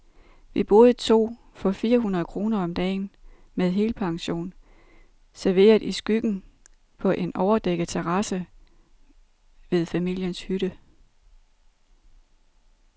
Vi boede to for fire hundrede kroner om dagen, med helpension, serveret i skyggen på en overdækket terrasse ved familiens hytte.